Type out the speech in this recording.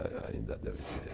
Ah, ainda deve ser.